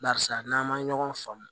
Barisa n'an ma ɲɔgɔn faamu